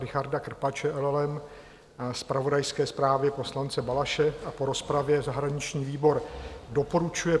Richarda Krpače, LLM, zpravodajské zprávě poslance Balaše a po rozpravě zahraniční výbor doporučuje